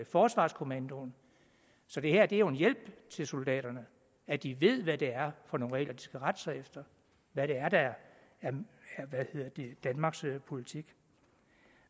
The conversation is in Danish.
forsvarskommandoen så det her er jo en hjælp til soldaterne at de ved hvad det er for nogle regler de skal rette sig efter hvad det er der er danmarks politik